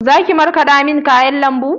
Zaki markaɗa min kayan lambu?